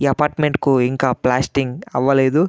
ఈ అపార్ట్మెంట్ కు ఇంకా ప్లాస్టింగ్ అవ్వలేదు --